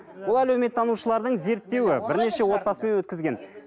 бұл әлеуметтанушылардың зерттеуі бірнеше отбасымен өткізген